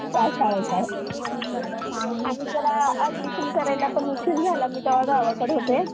Transfer, exchange आणि Register यांना मार्गदर्शक सूचना देणे.